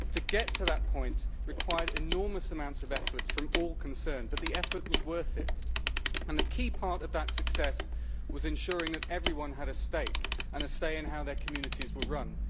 To get to that point required enormous amounts of effort from all concerned, but the effort was worth it, and the key part of that success was ensuring that everyone had a stake and a say in how their communities were run.